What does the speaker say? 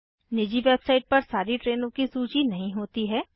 निजी वेबसाइट पर सारी ट्रेनों की सूची नहीं होती है